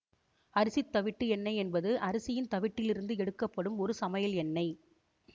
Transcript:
அரிசித் தவிட்டு எண்ணெய் என்பது அரிசியின் தவிட்டில் இருந்து எடுக்கப்படும் ஒரு சமையல் எண்ணெய்